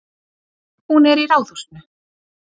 Hún er í Ráðhúsinu.